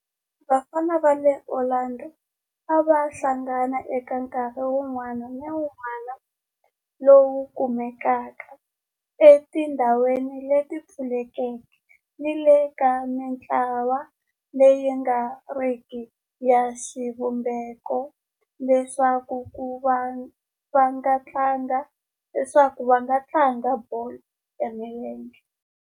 Vafana va le Orlando a va hlangana eka nkarhi wun'wana ni wun'wana lowu kumekaka etindhawini leti pfulekeke ni le ka mintlawa leyi nga riki ya xivumbeko leswaku va tlanga bolo ya milenge.